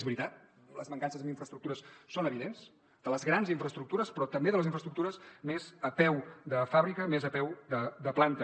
és veritat les mancances en infraestructures són evidents de les grans infraestructures però també de les infraestructures més a peu de fàbrica més a peu de planta